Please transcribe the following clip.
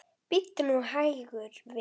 Bíddu nú hægur, vinur.